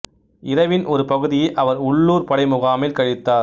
இரவின் ஒரு பகுதியை அவர் உள்ளூர் படை முகாமில் கழித்தார்